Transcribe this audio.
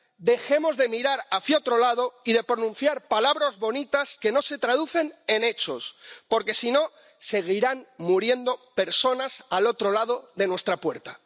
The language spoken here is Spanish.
Dejemos de mirar hacia otro lado y de pronunciar palabras bonitas que no se traducen en hechos, porque, si no, seguirán muriendo personas al otro lado de nuestra puerta.